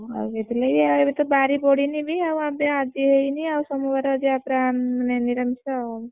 ଆଉ ସେଥିଲାଗି ଏବେ ତ ବାରି ପଡିନି ବି ଆଉ ଆଜି ହେଇନି ଆଉ ସବୁ ବାର ମାନେ ନିରାମିଷ ଆଉ।